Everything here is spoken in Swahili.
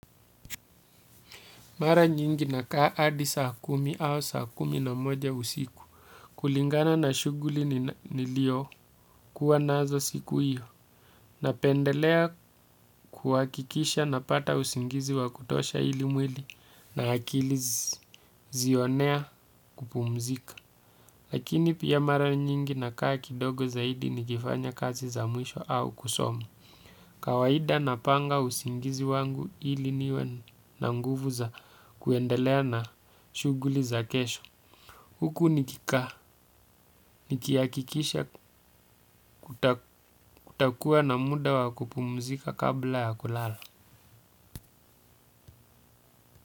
Mara nyingi nakaa hadi saa kumi au saa kumi na moja usiku kulingana na shughuli niliokuwa nazo siku iyo. Napendelea kuhakikisha napata usingizi wa kutosha ili mwili na akili zionea kupumzika. Lakini pia mara nyingi nakaa kidogo zaidi nikifanya kazi za mwisho au kusoma. Kawaida napanga usingizi wangu ili niwe na nguvu za kuendelea na shughuli za kesho. Huku nikikaa, nikihakikisha kutakuwa na muda wa kupumzika kabla ya kulala.